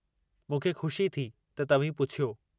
मूंखे खु़शी थी त तव्हीं पुछियो।